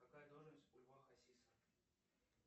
какая должность у льва хасиса